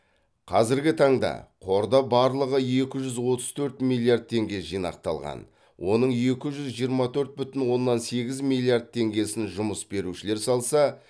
қазіргі таңда қорда барлығы екі жүз отыз төрт миллиард теңге жинақталған оның екі жүз жиырма төрт бүтін оннан сегіз миллиард теңгесін жұмыс берушілер салса